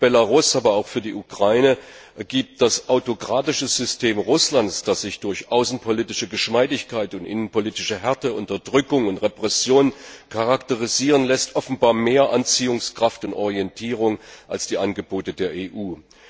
Für Belarus, aber auch für die Ukraine, übt das autokratische System Russlands, das sich durch außenpolitische Geschmeidigkeit und innenpolitische Härte, Unterdrückung und Repression charakterisieren lässt, offenbar mehr Anziehungskraft aus und gibt mehr Orientierung als die Angebote der EU.